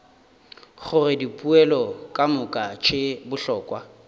gore dipoelo kamoka tše bohlokwa